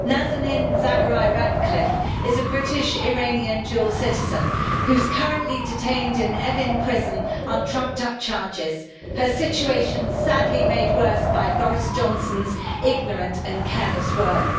Nazanin Zaghari-Ratcliffe is a British-Iranian dual citizen, who is currently detained in Evin prison on trumped up charges, her situation sadly made worse by Boris Johnson's ignorant and careless words.